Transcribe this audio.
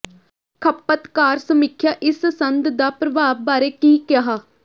ਖਪਤਕਾਰ ਸਮੀਖਿਆ ਇਸ ਸੰਦ ਦਾ ਪ੍ਰਭਾਵ ਬਾਰੇ ਕੀ ਕਿਹਾ